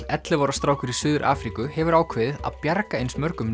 ellefu ára strákur í Suður Afríku hefur ákveðið að bjarga eins mörgum